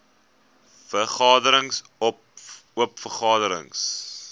vergaderings oop vergaderings